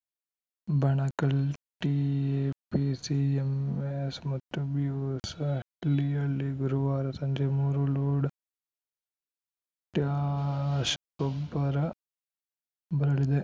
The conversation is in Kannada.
ಬಣಕಲ್‌ ಟಿಎಪಿಸಿಎಂಎಸ್‌ ಮತ್ತು ಬಿಹೊಸಳ್ಳಿಯಲ್ಲಿ ಗುರುವಾರ ಸಂಜೆ ಮೂರು ಲೋಡ್‌ ಪೊಟ್ಯಾಷ್‌ ಗೊಬ್ಬರ ಬರಲಿದೆ